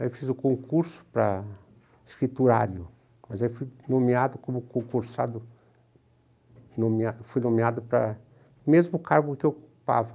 Aí eu fiz o concurso para escriturário, mas aí fui nomeado como concursado, fui nomeado para o mesmo cargo que eu ocupava,